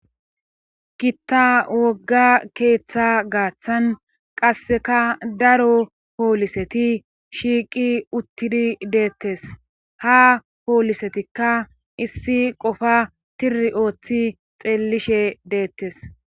Gitta wogga keeththa gaaththan qasseka daro pooliseti shiiqi uttidi deettes ha poolisetikka issi qofa tiri ooththi xeellishe deettes